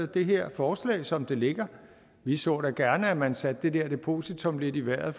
det her forslag som det ligger vi så da gerne at man satte det der depositum lidt i vejret